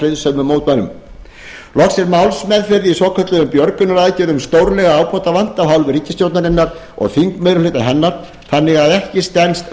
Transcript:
friðsömum mótmælendum loks er málsmeðferð í svokölluðum björgunaraðgerðum stórlega ábótavant af hálfu ríkisstjórnarinnar og þingmeirihluta hennar þannig að ekki stenst